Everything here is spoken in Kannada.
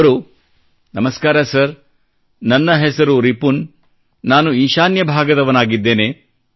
ಅವರು ನಮಸ್ಕಾರ ಸರ್ ನನ್ನ ಹೆಸರು ರಿಪುನ್ ನಾನು ಈಶಾನ್ಯ ಭಾಗದವನಾಗಿದ್ದೇನೆ